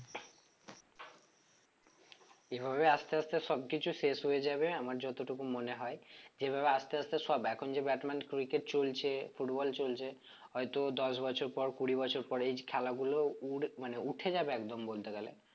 এভাবে আস্তে আস্তে সব কিছু শেষ হয়ে যাবে আমার যতটুকু মনে হয়ে যেভাবে আস্তে আস্তে সব এখন যে batman cricket চলছে football চলছে হয়তো দশ বছর পর কুড়ি বছর পর এই খেলাগুলো উঠ~ মানে উঠে যাবে একদম বলতে গেলে